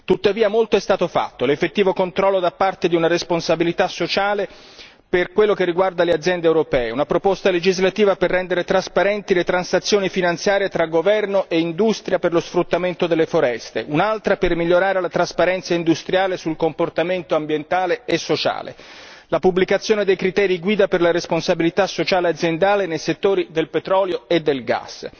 Tuttavia molto è stato fatto l'effettivo controllo nel quadro di una responsabilità sociale per quello che riguarda le aziende europee, una proposta legislativa per rendere trasparenti le transazioni finanziarie tra governo e industria per lo sfruttamento delle foreste, un'altra per migliorare la trasparenza industriale sul comportamento ambientale e sociale, la pubblicazione dei criteri guida per la responsabilità sociale e aziendale nei settori del petrolio e del gas.